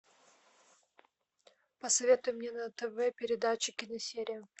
посоветуй мне на тв передачу киносерия